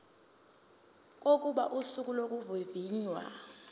kokuba usuku lokuvivinywa